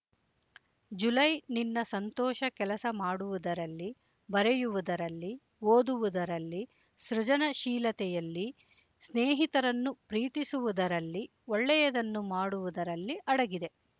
July ನಿನ್ನ ಸಂತೋಷ ಕೆಲಸ ಮಾಡುವುದರಲ್ಲಿ ಬರೆಯುವುದರಲ್ಲಿ ಓದುವುದರಲ್ಲಿ ಸೃಜನಶೀಲತೆಯಲ್ಲಿ ಸ್ನೇಹಿತರನ್ನು ಪ್ರೀತಿಸುವುದರಲ್ಲಿ ಒಳ್ಳೆಯದನ್ನು ಮಾಡುವುದರಲ್ಲಿ ಅಡಗಿದೆ